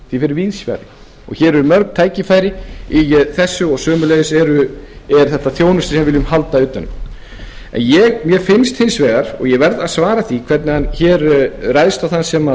fer víðs fjarri hér eru mörg tækifæri í þessu og sömuleiðis er þetta þjónusta sem við viljum halda utan um en mér finnst hins vegar og ég verð að svara því hvernig hann ræðst á þann sem